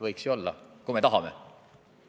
Võiks ju olla, kui me tahame.